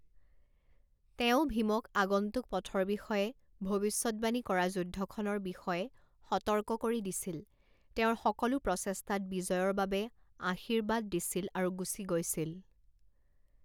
তেওঁ ভীমক আগন্তুক পথৰ বিষয়ে, ভৱিষ্যদ্বাণী কৰা যুদ্ধখনৰ বিষয়ে সতৰ্ক কৰি দিছিল, তেওঁৰ সকলো প্ৰচেষ্টাত বিজয়ৰ বাবে আশীৰ্বাদ দিছিল আৰু গুচি গৈছিল।